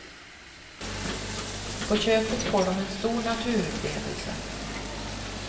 På köpet får de en stor naturupplevelse.